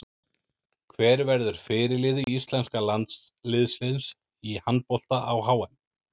Hver verður fyrirliði íslenska landsliðsins í handbolta á HM?